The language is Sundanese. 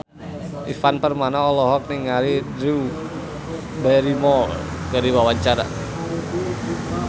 Ivan Permana olohok ningali Drew Barrymore keur diwawancara